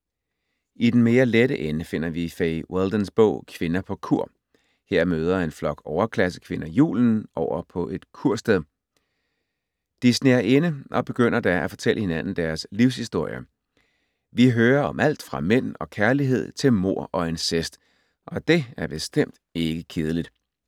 I den mere lette ende finder vi Fay Weldons bog Kvinder på kur. Her mødes en flok overklassekvinder julen over på et kursted. De sner ind og begynder da at fortælle hinanden deres livshistorier. Vi hører om alt fra mænd og kærlighed til mord og incest, og det er bestemt ikke kedeligt.